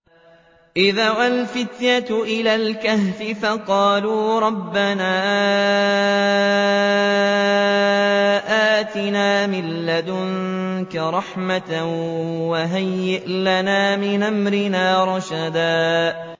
إِذْ أَوَى الْفِتْيَةُ إِلَى الْكَهْفِ فَقَالُوا رَبَّنَا آتِنَا مِن لَّدُنكَ رَحْمَةً وَهَيِّئْ لَنَا مِنْ أَمْرِنَا رَشَدًا